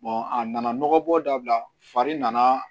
a nana nɔgɔ bɔ dabila fari nana